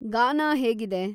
ಗಾನಾ ಹೇಗಿದೆ?